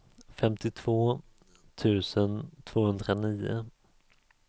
femtiotvå tusen tvåhundranio